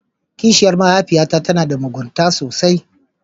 Kishiyar mahaifiyata tana da mugunta sosai.